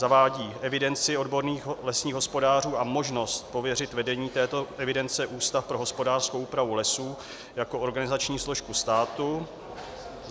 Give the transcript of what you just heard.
zavádí evidenci odborných lesních hospodářů a možnost pověřit vedením této evidence Ústav pro hospodářskou úpravu lesů jako organizační složku státu;